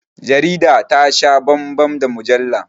Jarida ta sha bambam da mujalla